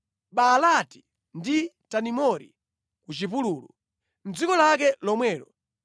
Baalati ndi Tadimori ku chipululu, mʼdziko lake lomwelo,